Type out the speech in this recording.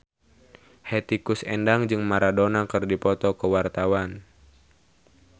Hetty Koes Endang jeung Maradona keur dipoto ku wartawan